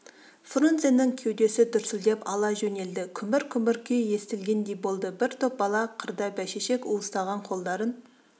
фрунзенің кеудесі дүрсілдеп ала жөнелді күмбір-күмбір күй естілгендей болды бір топ бала қырда бәйшешек уыстаған қолдарын